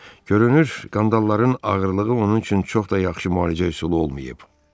Görünür, qandalların ağırlığı onun üçün çox da yaxşı müalicə üsulu olmayıb.